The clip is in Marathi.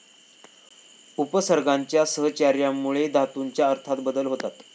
उपसर्गांच्या सहचार्यामुळे धातूच्या अर्थात बदल होतात.